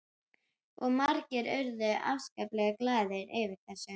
Og margir urðu afskaplega glaðir yfir þessu.